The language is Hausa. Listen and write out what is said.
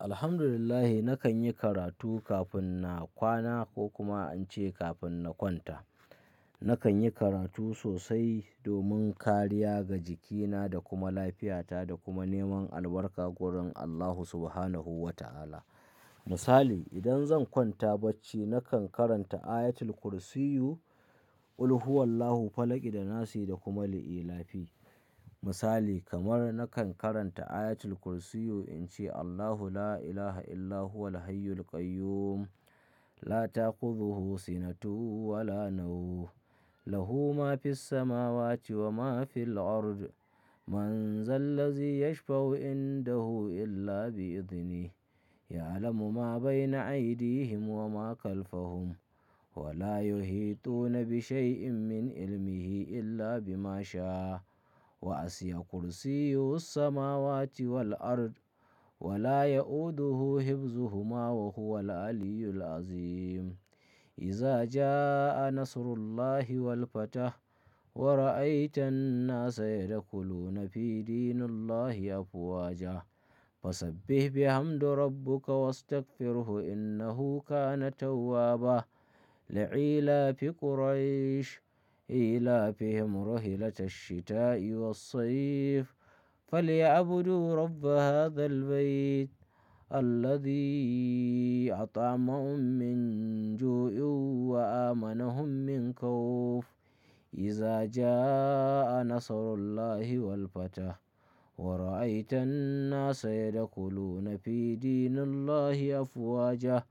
Alhamdulillah, nakan yi karatu kafin na kwana ko kuma in ce kafin na kwanta. Nakan yi karatu sosai domin kariya ga jikina da kuma lafiyata da kuma neman albarka wurin Allahu Subhanahu wa ta'ala. Misali, idan zan kwanta bacci, nakan karanta ayatul kursiyu, qulhuwallahu falakida nasi da kuma li ilafi. Misali kamar nakan karanta ayatul kursiyu in ce Allahu la ilaha illa huwal hayyul qayyum la ta'khuzuhu sinatuhu wa la nawu lahu ma fis samawati wa ma fil ard man zallazi yashfa'u indahu illa bi'idhnihi ya'alamu ma bayna aydihim wa ma khalfahum wa la yuheetuna bi shay'in min ilmihi illa bima sha wa asi'a kursiyyu hus samawati wal ard wa la ya'uduhu hibzuhuma wa huwa al-'aliyyul 'azhim. Iza jaa'a nasrullahi wal fath wa ra'aitan-nasa yadakhuluna fi dinillahi afwaja fasabbih bihamdi rabbuka wastaghfirhu innahu kana tawwaba. Li 'ila fi quraish 'ila fi hum rahilata ash-shita-i was-saif falyabudu rabba hadhal bayt alladhi at'amahum min ju'in wa amana hum min khawf. Iza jaa'a nasrullahi wal fath wa ra'aitan-nasa yadakhuluna fi dinillahi afwaja